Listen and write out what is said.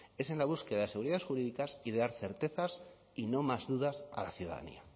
es en la búsqueda de seguridades jurídicas y de dar certezas y no más dudas a la ciudadanía